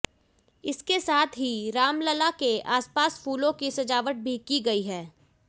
इसके साथ ही रामलला के आसपास फूलों की सजावट भी की गई है